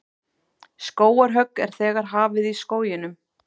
Skógarhögg er þegar hafið í skóginum